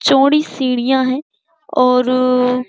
चौडी सीढ़ियाँ हैं और --